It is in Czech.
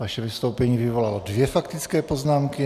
Vaše vystoupení vyvolalo dvě faktické poznámky.